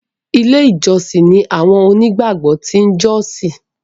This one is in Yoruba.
ilé ìjósìn ní àwọn òní gbàgbó tin jọsin